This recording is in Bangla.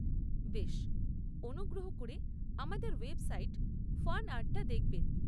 বেশ! অনুগ্রহ করে আমাদের ওয়েবসাইট ফানআর্ট টা দেখবেন।